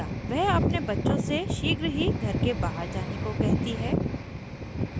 वह अपने बच्चों से शीघ्र ही घर के बाहर जाने को कहती है